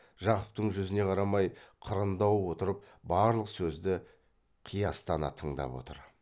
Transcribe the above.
жақыптың жүзіне қарамай қырындау отырып барлық сөзді қиястана тыңдап отыр